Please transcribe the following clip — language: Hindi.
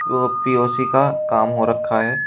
ओ पी_ओ_सी का काम हो रखा है।